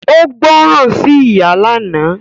Ó gbọ̀rán sí ìyá lánàá